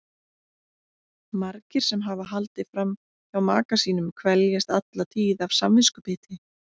Margir sem hafa haldið fram hjá maka sínum kveljast alla tíð af samviskubiti.